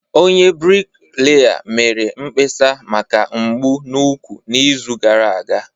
Onye bricklayer mere mkpesa maka mgbu n'úkwù n'izu gara aga